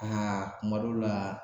kuma dɔw la